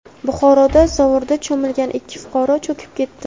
Buxoroda zovurda cho‘milgan ikki fuqaro cho‘kib ketdi.